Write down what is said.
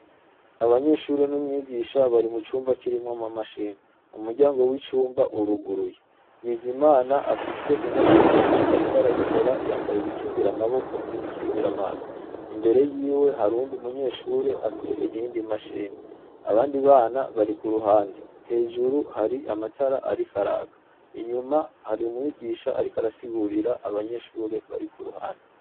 Abanyeshuri n'umwigisha bari mu cumba kirimwo ama mashini u muryango w'icumba uruguruye bizimana afise imashini imwe, ariko arayikora yambaye ibikingira amaboko n'ibikingira amaso imbere yiwe harundi umunyeshure afise iyndi imashini abandi bana bari ku ruhande hejuru hari amatara ari ko araka inyuma hari umwigisha, ariko arasigurira abanyeshure bari ku ruhande.